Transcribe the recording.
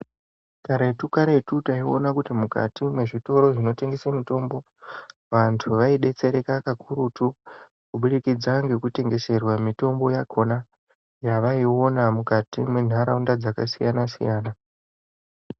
Karetu karetu taiona kuti mukati mwezvitoro zvinotengese mutombo vandu vaubetsereka kakurutu kubudikidza ngokutengeserwa mitombo yakona yacaiona mukati mwendaraunda dzakasiyana siyana.